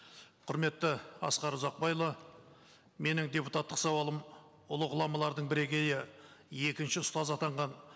құрметті асқар ұзақбайұлы менің депутаттық сауалым ұлы ғұламалардың бірегейі екінші ұстаз атанған